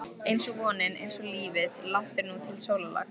einsog vonin, einsog lífið- langt er nú til sólarlags.